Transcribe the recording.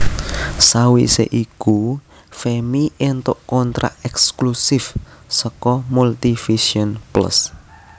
Sawise iku Femmy éntuk kontrak ekslusif saka Multivision Plus